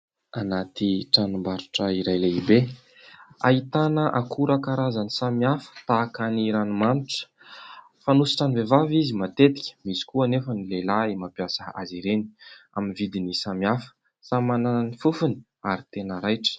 Anaty tranombarotra iray lehibe ahitana akora karazany samihafa tahaka ny ranomanitra fanosotran'ny vehivavy izy matetika. Misy koa anefa ny lehilahy mampiasa azy ireny ; amin'ny vidiny samihafa, samy manana ny fofony ary tena raitra.